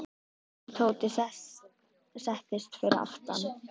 Tóti settist fyrir aftan.